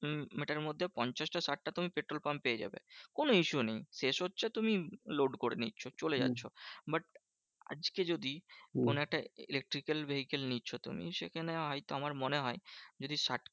তুমি মিটারের মধ্যে পঞ্চাশটা ষাট টা তুমি পেট্রল পাম্প পেয়ে যাবে। কোনো issue নেই শেষ হচ্ছে তুমি load করে নিচ্ছো চলে যাচ্ছো। but আজকে যদি কোনো একটা electrical vehicle নিচ্ছো তুমি সেখানে হয়তো আমার মনে হয় যদি ষাট